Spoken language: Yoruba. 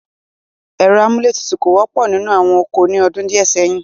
Ẹ̀rọ amúlé tutù kò wọ́pọ̀ nínú àwọn ọkọ̀ ní ọdún díẹ̀ sẹ́yìn.